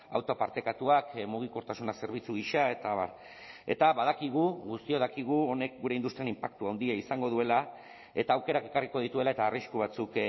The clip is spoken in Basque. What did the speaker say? auto partekatuak mugikortasuna zerbitzu gisa eta abar eta badakigu guztiok dakigu honek gure industrian inpaktu handia izango duela eta aukerak ekarriko dituela eta arrisku batzuk